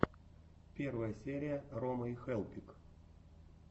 первая серия рома и хелпик